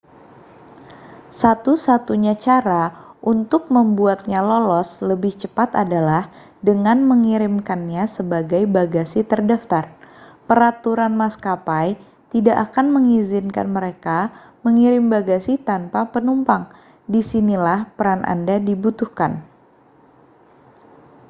satu-satunya cara untuk membuatnya lolos lebih cepat adalah dengan mengirimkannya sebagai bagasi terdaftar peraturan maskapai tidak akan mengizinkan mereka mengirim bagasi tanpa penumpang disinilah peran anda dibutuhkan